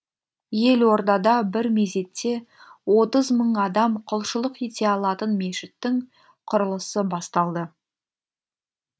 елордада бір мезетте отыз мың адам құлшылық ете алатын мешіттің құрылысы басталды